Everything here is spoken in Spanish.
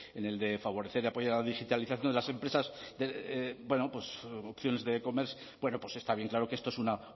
en el de favorecer y apoyar a la digitalización de las empresas está bien claro que esto es una